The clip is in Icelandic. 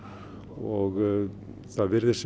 og það virðast